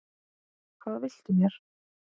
Hvað viltu mér?